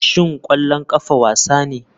Shin ƙwallon ƙafa wasa ne?